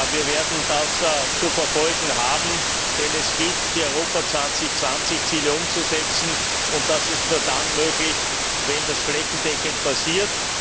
Wir werden das zu verfolgen haben, denn es gilt die Europa 2020 Ziele umzusetzen und das ist nur dann möglich, wenn das flächendeckend passiert.